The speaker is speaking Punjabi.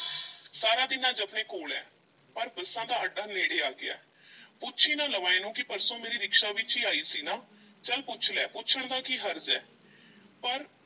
ਸਾਰਾ ਦਿਨ ਅੱਜ ਆਪਣੇ ਕੋਲ ਐ, ਪਰ ਬੱਸਾਂ ਦਾ ਅੱਡਾ ਨੇੜੇ ਆ ਗਿਆ ਪੁੱਛ ਈ ਨਾ ਲਵਾਂ ਇਹਨੂੰ ਕਿ ਪਰਸੋਂ ਮੇਰੀ ਰਿਕਸ਼ਾ ਵਿੱਚ ਈ ਆਈ ਸੀ ਨਾ, ਚੱਲ ਪੁੱਛ ਲੈ ਪੁੱਛਣ ਦਾ ਕੀ ਹਰਜ਼ ਐ ਪਰ